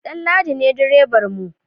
Danladi ne direban mu